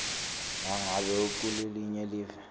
nangabe ukulelinye live